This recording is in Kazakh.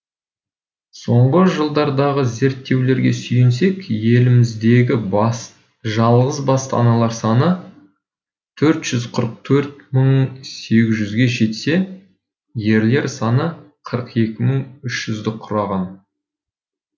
соңғы жылдардағы зерттеулерге сүйенсек еліміздегі жалғыз басты аналар саны төрт жүз қырық төрт мың сегіз жүзге жетсе ерлер саны қырық екі мың үш жүзді құраған